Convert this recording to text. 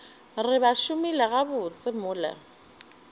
re ba šomile gabotse mola